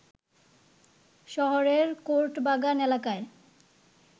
শহরের কোর্ট বাগান এলাকায়